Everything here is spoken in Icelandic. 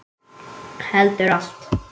Heldur allt.